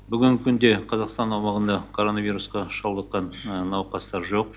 бүгінгі күнде қазақстан аумағында короновирусқа шалдыққан науқастар жоқ